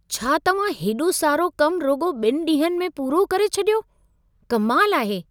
छा तव्हां हेॾो सारो कमु रुॻो ॿिनि ॾींहनि में पूरो करे छॾियो? कमाल आहे।